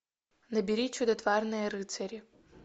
набери чудотворные рыцари